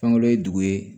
Fankelen ye dugu ye